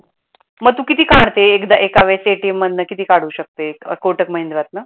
मग तू किती काढते एका वेळेस ATM मधनं किती काढू शकते कोटक महिन्द्रातन?